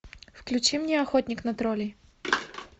включи мне охотник на троллей